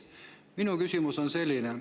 Minu küsimus on selline.